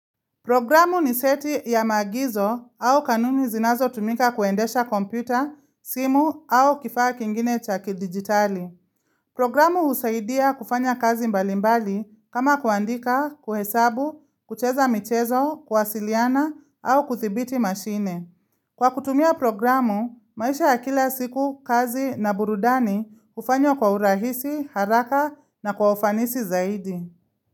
Programu ni seti ya maagizo au kanuni zinazotumika kuendesha kompyuta, simu au kifaa kingine cha kidigitali. Programu husaidia kufanya kazi mbalimbali kama kuandika, kuhesabu, kucheza michezo, kuasiliana au kuthibiti mashine. Kwa kutumia programu, maisha ya kila siku, kazi na burudani hufanywa kwa urahisi, haraka na kwa ufanisi zaidi.